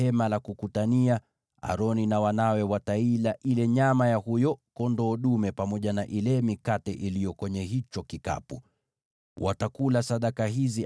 Aroni na wanawe wataila ile nyama ya huyo kondoo dume pamoja na ile mikate iliyo kwenye hicho kikapu wakiwa hapo ingilio la Hema la Kukutania.